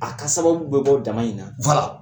A ka sababu bɛ bɔ dama in na